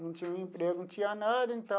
Não tinha um emprego, não tinha nada, então...